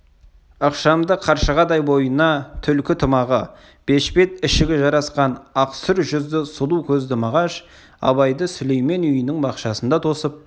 ықшамды қаршығадай бойына түлкі тымағы бешпет ішігі жарасқан ақсұр жүзді сұлу көзді мағаш абайды сүлеймен үйінің бақшасында тосып